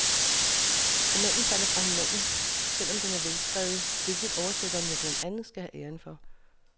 Romanen falder fra hinanden, selv om den er velskrevet, hvilket oversætteren jo blandt andet skal have æren for.